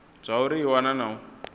zwauri i wana na u